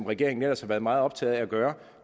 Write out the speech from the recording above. regeringen ellers har været meget optaget af at gøre